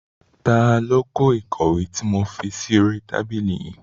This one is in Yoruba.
Ta ló kó ìkọ̀wé tí mo fi sí oríi tábìlì yìí?